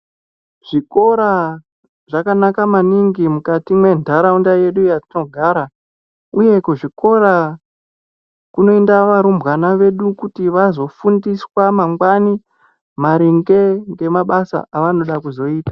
Zvikora zvakanaka maningi mukati mwendaraunda yedu yatinogara uye kuzvikora kunoenda varumbwana vedu kuti vazofundiswa mangwani maringe ngemabasa avanoda kuzoita .